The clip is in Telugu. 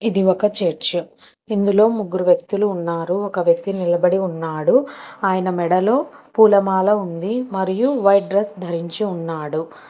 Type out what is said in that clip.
ఇది ఒక చర్చు ఇందులో ముగ్గురు వ్యక్తులు ఉన్నారు ఒక వ్యక్తి నిలబడి ఉన్నాడు ఆయన మెడలో పూలమాల ఉంది మరియు వైట్ డ్రెస్ ధరించి ఉన్నాడు.